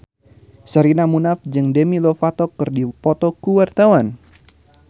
Sherina Munaf jeung Demi Lovato keur dipoto ku wartawan